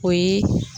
O ye